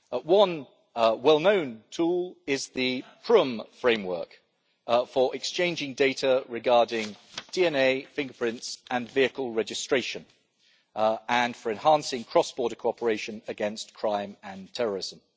One well known tool is the Prüm framework for exchanging data regarding DNA, fingerprints and vehicle registration, and for enhancing cross border cooperation against crime and terrorism.